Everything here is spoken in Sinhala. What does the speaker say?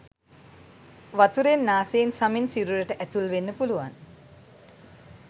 වතුරෙන් නාසයෙන් සමෙන් සිරුරට ඇතුල් වෙන්න පුළුවන්